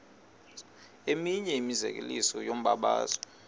eminye imizekelo yombabazo